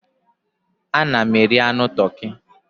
Ana m eri anụ toki.